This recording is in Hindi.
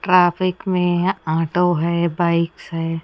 ट्रैफिक में ह ऑटो है बाइक्स है।